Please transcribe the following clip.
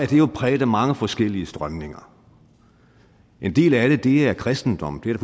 jo præget af mange forskellige strømninger en del af det er kristendom det er